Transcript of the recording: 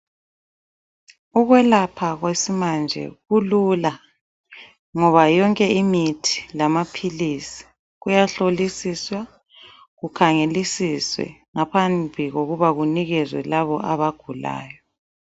Ukwelapha kwesimanje kulula ngoba yonke imithi lamaphilisi kuyahlolisiswa, kukhangelisiswe ngaphambi kokuba kunikezwe laba abagulayo.